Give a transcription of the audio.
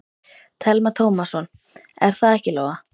Telma Tómasson: Er það ekki Lóa?